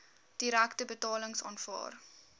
direkte betalings aanvaar